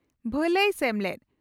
ᱵᱷᱟᱞᱟᱭ ᱥᱮᱢᱞᱮᱫ, ᱾